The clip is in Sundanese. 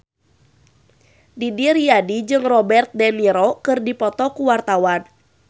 Didi Riyadi jeung Robert de Niro keur dipoto ku wartawan